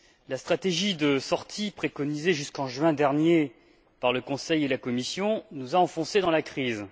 La stratégie de sortie, préconisée jusqu'en juin dernier par le Conseil ou la Commission, nous a enfoncés dans la crise.